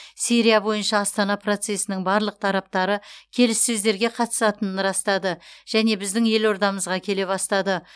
сирия бойынша астана процесінің барлық тараптары келіссөздерге қатысатынын растады және біздің елордамызға келе бастады